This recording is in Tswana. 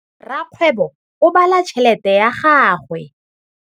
Rakgwêbô o bala tšheletê ya gagwe.